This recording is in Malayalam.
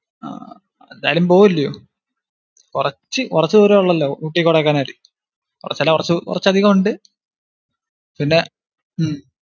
അഹ് ഏതായാലും പോവല്ലിയോ? കുറച്ചു~ കുറച്ചു ദുരം ഉള്ളല്ലോ, ഊട്ടി കൊഡൈക്കനാല്. കുറച്ചല്ല കുറച്ചു അധികം ദൂരം ഉണ്ട്. പിന്നെ ഉം